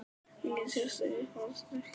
Engin sérstök Uppáhaldsdrykkur?